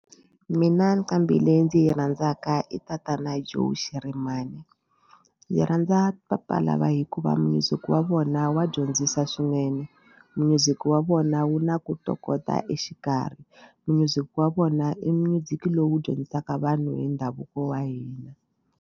Mina nqambi leyi ndzi yi rhandzaka i tatana Joe Shirimani ndzi rhandza papa lava hikuva music wa vona wa dyondzisa swinene, music wa vona wu na ku tokota exikarhi, music wa vona i music lowu dyondzisaka vanhu hi ndhavuko wa hina.